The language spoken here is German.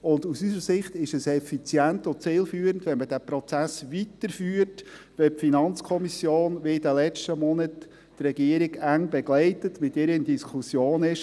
Und aus unserer Sicht ist es effizient und zielführend, wenn man diesen Prozess weiterführt, wenn die FiKo, wie in den letzten Monaten, die Regierung eng begleitet, mit ihr in Diskussion ist.